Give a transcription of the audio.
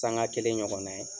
Sanŋa kelen ɲɔgɔn na ye.